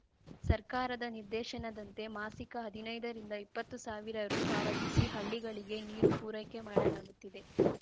ಸರ್ಕಾರದ ನಿರ್ದೇಶನದಂತೆ ಮಾಸಿಕ ಹದಿನೈದ ರಿಂದ ಇಪ್ಪತ್ತು ಸಾವಿರ ರು ಪಾವತಿಸಿ ಹಳ್ಳಿಗಳಿಗೆ ನೀರು ಪೂರೈಕೆ ಮಾಡಲಾಗುತ್ತಿದೆ